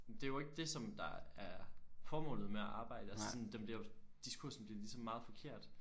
Men det jo ikke det som der er formålet med at arbejde altså sådan den bliver diskursen bliver ligesom meget forkert